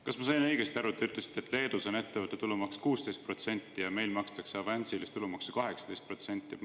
Kas ma sain õigesti aru, et te ütlesite, et Leedus on ettevõtte tulumaks 16% ja meil makstakse avansilist tulumaksu 18%?